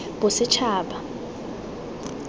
bosetshaba